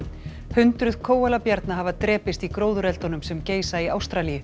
hundruð hafa drepist í gróðureldunum sem geisa í Ástralíu